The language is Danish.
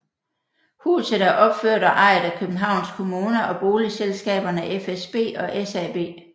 Huset er opført og ejet af Københavns Kommune og boligselskaberne fsb og SAB